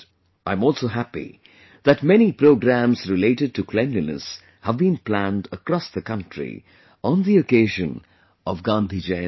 I am also happy that many programs related to cleanliness have been planned across the country on the occasion of Gandhi Jayanti